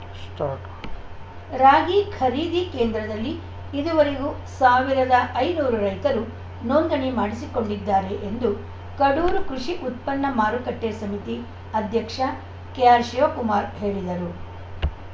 start ರಾಗಿ ಖರೀದಿ ಕೇಂದ್ರದಲ್ಲಿ ಇದುವರೆಗೂ ಸಾವಿರದ ಐನೂರು ರೈತರು ನೋಂದಣಿ ಮಾಡಿಸಿಕೊಂಡಿದ್ದಾರೆ ಎಂದು ಕಡೂರು ಕೃಷಿ ಉತ್ಪನ್ನ ಮಾರುಕಟ್ಟೆಸಮಿತಿ ಅಧ್ಯಕ್ಷ ಕೆಆರ್‌ ಶಿವಕುಮಾರ್‌ ಹೇಳಿದರು